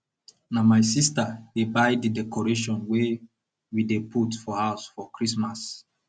na my sister dey buy di decoration wey we dey put for house for christmas